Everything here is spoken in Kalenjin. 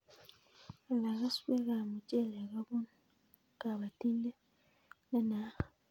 Ala keswek ab muchelek kopun kabatindet ne naat